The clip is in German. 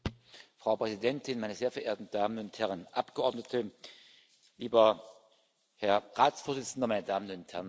Frau Präsidentin, meine sehr verehrten Damen und Herren Abgeordneten, lieber Herr Ratsvorsitzender, meine Damen und Herren!